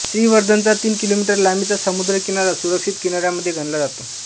श्रीवर्धनचा तीन किलोमीटर लांबीचा समुद्रकिनारा सुरक्षित किनाऱ्यांमध्ये गणला जातो